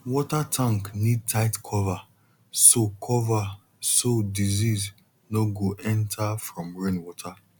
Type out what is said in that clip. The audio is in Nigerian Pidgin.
water tank need tight cover so cover so disease no go enter from rainwater